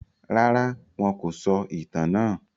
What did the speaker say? Rárá, wọn kò sọ ìtàn náà.